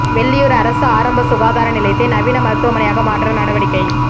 வெள்ளியூர் அரசு ஆரம்ப சுகாதார நிலையத்தை நவீன மருத்துவமனையாக மாற்ற நடவடிக்கை